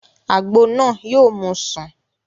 Àgbo náà yóò mú u sùn